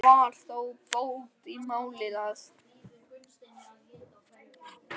Það var þó bót í máli að